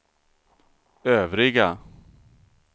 övriga